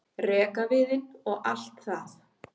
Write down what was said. rekaviðinn og allt það.